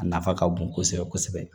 A nafa ka bon kosɛbɛ kosɛbɛ